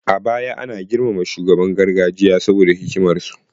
A baya ana girmama shugabannin gargajiya saboda hikimar su